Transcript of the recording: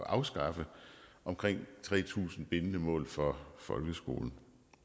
afskaffe omkring tre tusind bindende mål for folkeskolen